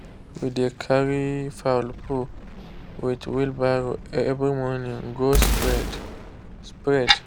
we dey carry fowl poo with wheelbarrow every morning go spread. spread.